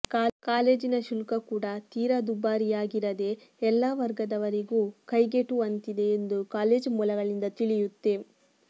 ಕಾಲೇಜಿನ ಶುಲ್ಕ ಕೂಡ ತೀರಾ ದುಬಾರಿಯಾಗಿರದೆ ಎಲ್ಲಾ ವರ್ಗದವರಿಗೂ ಕೈಗೆಟುವಂತಿದೆ ಎಂದು ಕಾಲೇಜು ಮೂಲಗಳಿಂದ ತಿಳಿಯುತ್ತೆ